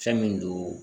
Fɛn min don